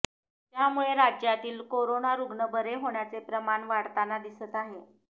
त्यामुळे राज्यातील कोरोना रुग्ण बरे होण्याचे प्रमाण वाढताना दिसत आहे